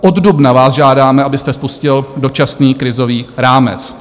Od dubna vás žádáme, abyste spustil dočasný krizový rámec.